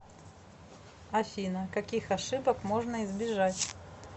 афина каких ошибок можно избежать